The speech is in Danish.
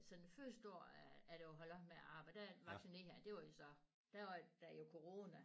Så den første år af at jeg var holdt op med at arbejde der vaccinerede jeg det var jo så der var jo corona